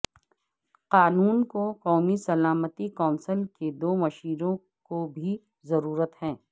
قانون کو قومی سلامتی کونسل کے دو مشیروں کو بھی ضرورت ہے